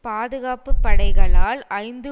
பாதுகாப்பு படைகளால் ஐந்து